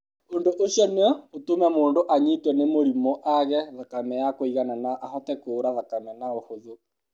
Ũndũ ũcio no ũtũme mũndũ anyitwo nĩ mũrimũ, aage thakame ya kũigana na ahote kuura thakame na ũhũthũ.